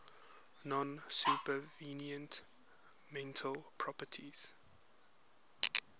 non supervenient mental properties